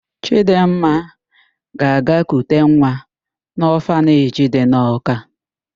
Chịdịmma ga-aga kute nwa n'ọfaneji dị na Ọka.